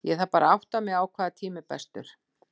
Ég þarf bara að átta mig á hvaða tími er bestur.